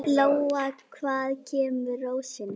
Lóa: Hvaðan kemur rósin?